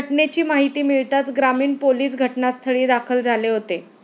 घटनेची माहिती मिळताच ग्रामीण पोलिस घटनास्थळी दाखल झाले होते.